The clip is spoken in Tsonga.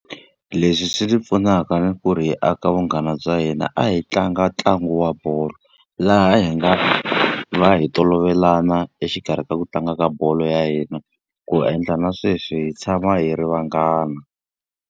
Leswi swi pfunaka ni ku ri hi aka vunghana bya hina a hi tlanga ntlangu wa bolo, laha hi nga va hi tolovelana exikarhi ka ku tlanga ka bolo ya hina. Ku endla na sweswi hi tshama hi ri vanghana.